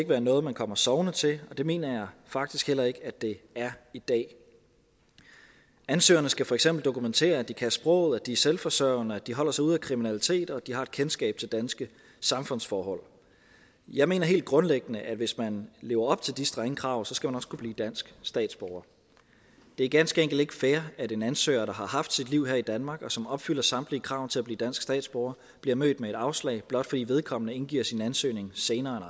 være noget man kommer sovende til og det mener jeg faktisk heller ikke det er i dag ansøgerne skal for eksempel dokumentere at de kan sproget at de er selvforsørgende at de holder sig ude af kriminalitet og at de har et kendskab til danske samfundsforhold jeg mener helt grundlæggende at hvis man lever op til de strenge krav skal man også kunne blive dansk statsborger det er ganske enkelt ikke fair at en ansøger der har haft sit liv her i danmark og som opfylder samtlige krav til at blive dansk statsborger bliver mødt med et afslag blot fordi vedkommende indgiver sin ansøgning senere